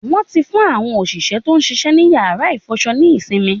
Wọ́n ti fún àwọn òṣìṣẹ́ tó ń ṣiṣẹ́ ní yàrá ìfọṣọ ní ìsinmi